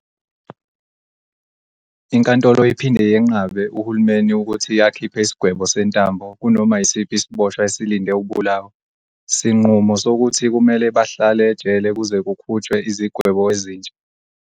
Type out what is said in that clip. Inkantolo iphinde yenqabe uhulumeni ukuthi akhiphe isigwebo sentambo kunoma yisiphi isiboshwa eselinde ukubulawa, sinqumo sokuthi kumele bahlale ejele kuze kukhutshwe izigwebo ezintsha.